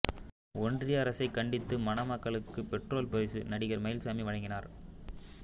ஒன்றிய அரசை கண்டித்து மணமக்களுக்கு பெட்ரோல் பரிசு நடிகர் மயில்சாமி வழங்கினார்